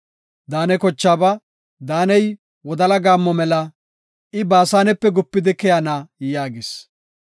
Daane kochaaba, “Daaney wodala gaammo mela; I Baasanepe gupidi keyana” yaagis.